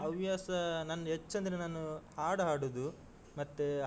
ಹವ್ಯಾಸ ನಂದು ಹೆಚ್ಚೆಂದ್ರೆ ನಾನು ಹಾಡು ಹಾಡುದು ಮತ್ತೆ.